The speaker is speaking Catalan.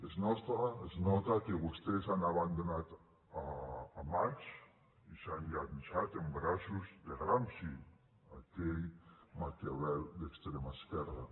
es nota que vostès han abandonat marx i s’han llançat en braços de gramsci aquell maquiavel d’extrema esquerra